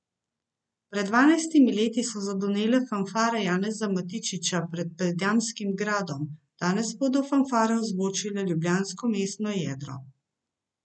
Pred dvanajstimi leti so zadonele fanfare Janeza Matičiča pred Predjamskim gradom, danes bodo fanfare ozvočile ljubljansko mestno jedro.